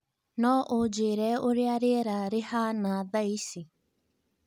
no ũnjiire ũria rĩera rĩahaana thaici